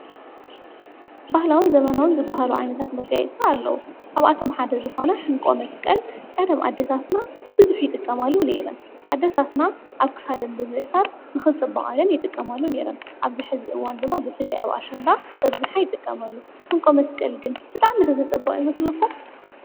ባህላውን ዘመናውን ዝባሃሉ ዓይነታት መጋይፅቲ ኣለዉ፡፡ ካብኣቶም ሓደ ዝኾነ ሕንቆ መስቀል ቀደም ኣደታትና ብብዙሐ ይጥቀማሉ ነይረን፡፡ ኣደታትና ኣብ ክሳደን ብምእሣር ንኽጽብቓ ይጥቀማሉ ነይረን፡፡ ኣብዚ ሕዚ እዋን ድማ ብፍልይ ኣብ ኣሸንዳ በብዝሓ ይጥቀመሉ፡፡ ሕንቆ መስቀል ግን ብጣዕሚ ዘፅበቕ ይመስለኩም?